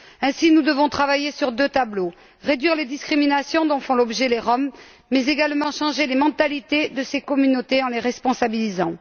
Ainsi, nous devons travailler sur deux tableaux réduire les discriminations dont font l'objet les Roms, mais également changer les mentalités de ces communautés en les responsabilisant.